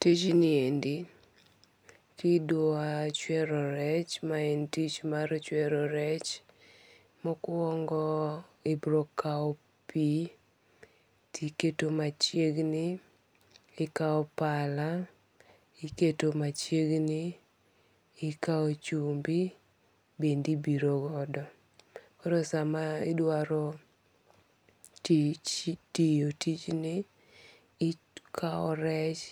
Tijni endi kidwa chwero rech ma en tich mar chwero rech. Mokwongo ibiro kawo pi tiketo machiegni. Ikaw pala iketo machiegni. Ikaw chumbi bende ibirogodo. Koro sama idwaro tiyo tijni ikaw rech